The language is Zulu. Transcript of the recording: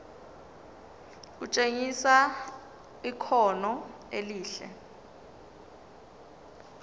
kutshengisa ikhono elihle